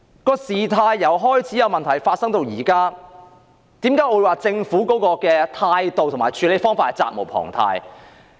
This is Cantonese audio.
問題由開始發生至今，為何我認為政府的態度及處理方法都值得商榷？